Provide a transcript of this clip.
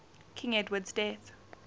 king edward's death